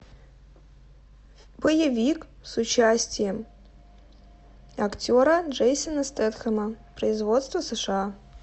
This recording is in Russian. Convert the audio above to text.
боевик с участием актера джейсона стэтхэма производство сша